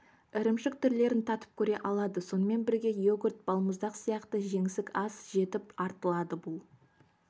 ірімшік түрлерін татып көре алады сонымен бірге йогурт балмұздақ сияқты жеңсік ас жетіп артылады бұл